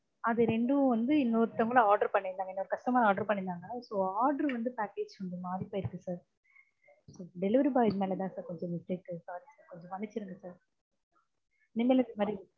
அது ரெண்டும் வந்து இன்னொருத்தவங்க order பண்ணியிருந்தாங்க. இன்னொரு customer order பண்ணியிருந்தாங்க. இப்போ order வந்து package கொஞ்சம் மாறிப் போயிருக்கு sir delivery boy மேலே தான் sir கொஞ்சம் mistake க்கு sorry sir கொஞ்சம் மன்னிச்சிடுங்க sir இனிமேலு இந்தமாதிரி